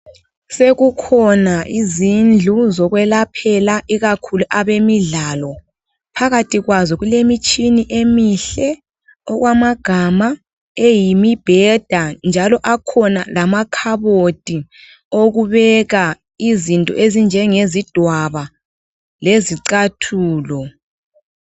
Sekukhona izindlu zokwelaphela ikakhulu abemidlalo. Phakathi kwazo kulemitshini emihle okwamagama eyimibheda njalo akhona lamakhabothi okubeka izinto ezinjengezidwaba lezicathulo.